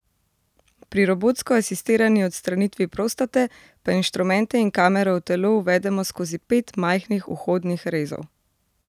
Pri robotsko asistirani odstranitvi prostate pa inštrumente in kamero v telo uvedemo skozi pet majhnih vhodnih rezov.